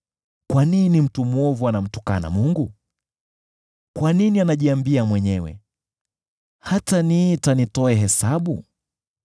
Kwa nini mtu mwovu anamtukana Mungu? Kwa nini anajiambia mwenyewe, “Hataniita nitoe hesabu?”